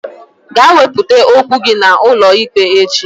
Gaa wepụta okwu gị n'ụlọikpe echi!